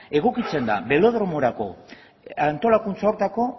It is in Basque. egokitzen da belodromorako antolakuntza horretako